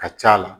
Ka c'a la